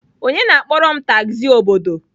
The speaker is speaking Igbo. Onye na-akpọrọ m tagzi obodo?